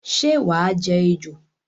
Sé wàá je ejò?